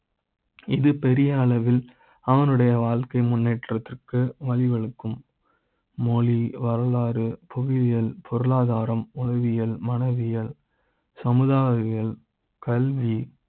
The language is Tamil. இது பெரிய அளவில் அவனுடைய வாழ்க்கை முன்னேற்ற த்துக்கு வழிவகுக்கும . மொழி, வரலாறு, புவி யியல், பொருளாதார ம், உளவியல், மன வியல் சமுதாய ம் கல்வி